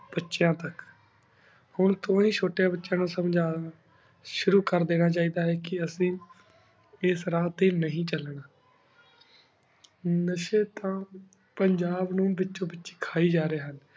ਬਚੇਯਨ ਤਕ ਹੁਣ ਤੂੰ ਹੀ ਚੁਤ੍ਰ੍ਯੰਨ ਬਚੇਯਾਂ ਨੂ ਸਮ੍ਜਾਂ ਸ਼ੁਰੂ ਕਰ ਦੇਣਾ ਚੀ ਦਾ ਆਯ ਕੀ ਅਸੀਂ ਇਸ ਰਾਹ ਟੀ ਨਹੀ ਚਲਨਾ ਨਾਸ਼੍ਯਨ ਤਾਂ ਪੰਜਾਬ ਨੂ ਵਿਛੁੰ ਵਿਚਿ ਕਹਿ ਜਾ ਰਹੀ ਹੁਣ